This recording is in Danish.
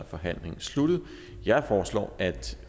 forhandlingen sluttet jeg foreslår at